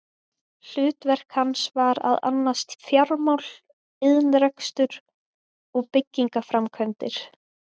Hlutverk hans var að annast fjármál, iðnrekstur og byggingaframkvæmdir.